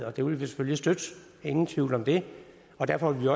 og det vil vi selvfølgelig støtte ingen tvivl om det derfor vil